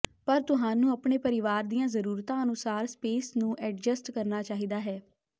ਪਰ ਤੁਹਾਨੂੰ ਆਪਣੇ ਪਰਿਵਾਰ ਦੀਆਂ ਜ਼ਰੂਰਤਾਂ ਅਨੁਸਾਰ ਸਪੇਸ ਨੂੰ ਐਡਜਸਟ ਕਰਨਾ ਚਾਹੀਦਾ ਹੈ